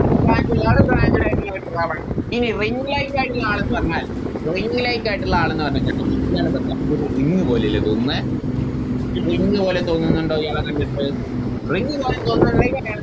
Branch ഇല്ലാതെ Branched ആയിട്ടുള്ള ഈ Ring light ആയിട്ടുള്ള ആളെന്ന് പറഞ്ഞാൽ Ring light ആയിട്ടുള്ള ആളെന്ന് പറഞ്ഞിക്കുണ്ടെങ്കിൽ ഇയാളെ കണ്ടിന ഇതൊരു Ring പോലെയല്ലേ തൊന്നിന്നെ ഒരു Ring പോലെ തോന്നിന്നിണ്ടോ ഇയാളെ കണ്ടിട്ട് Ring പോലെ തോന്നുന്നുണ്ടെങ്കിൽ